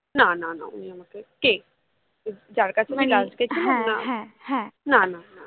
না না না উনি আমাকে কে যার কাছে আমি না না না